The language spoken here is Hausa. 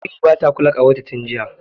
Mary bata kula ƙawarta tin jiya.